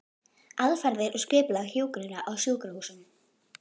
Aðferðir og skipulag hjúkrunar á sjúkrahúsum